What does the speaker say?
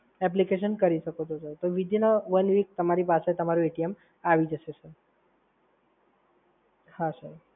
application કરી શકો છો સર. તો within a one week તમારી પાસે તમારું આઈ જશે સર. હા સર.